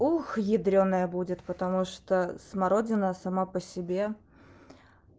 ух ядрёная будет потому что смородина сама по себе